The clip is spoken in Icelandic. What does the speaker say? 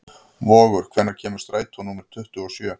Vogur, hvenær kemur strætó númer tuttugu og sjö?